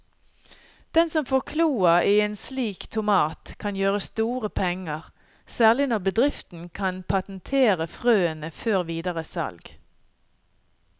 Den som får kloa i en slik tomat kan gjøre store penger, særlig når bedriften kan patentere frøene før videre salg.